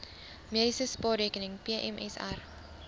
mediese spaarrekening pmsr